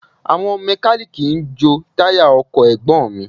Àwọn mẹ́kalíìkì ń jo táyà ọkọ̀ Ẹ̀gbọ́n mi